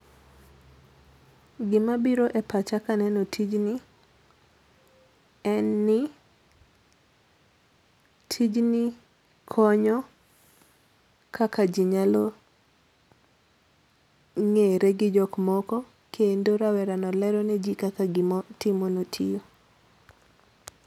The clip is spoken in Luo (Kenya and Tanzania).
Gima biro e pacha ka aneno tijni, en ni tijni konyo kaka jii nyalo ng'ere gi jok moko kendo rawero no lero ne jok moko kaka gima otimono tiyo.